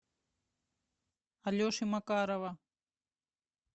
алеши макарова